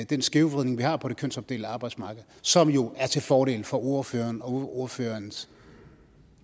den skævvridning vi har på det kønsopdelte arbejdsmarked som jo er til fordel for ordføreren og ordførerens